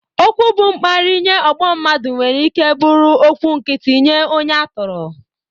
Okwu bụ mkparị nye ọgbọ mmadụ nwere ike bụrụ okwu nkịtị nye onye a tọrọ